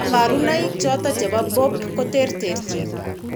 Kabarunaik choton chebo BOOP koterterchin